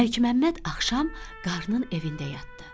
Məlikməmməd axşam qarının evində yatdı.